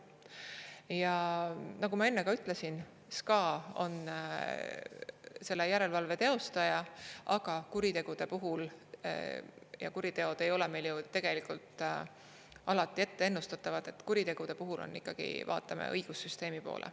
Ja nagu ma enne ütlesin, SKA on selle järelevalve teostaja, aga kuritegude puhul – ja kuriteod ei ole meil ju tegelikult alati ette ennustatavad – me vaatame ikkagi õigussüsteemi poole.